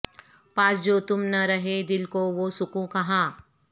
پاس جو تم نہ رہے دل کو وہ سکون کہاں